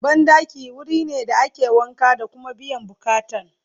banɗaki wurine da ake wanka da Kuma biyan buƙatan